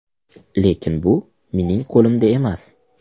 Lekin bu mening qo‘limda emas.